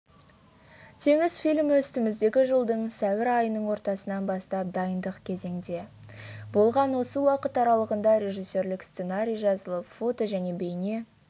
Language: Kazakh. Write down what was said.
теңіз фильмі үстіміздегі жылдың сәуір айының ортасынан бастап дайындық кезеңде болған осы уақыт аралығында режиссерлік сценарий жазылып фото және бейне